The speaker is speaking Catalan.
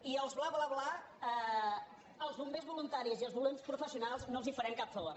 i els bla bla bla als bombers voluntaris i als bombers professionals no els faran cap favor